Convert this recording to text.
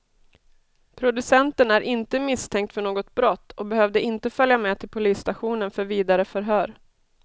Producenten är inte misstänkt för något brott och behövde inte följa med till polisstationen för vidare förhör.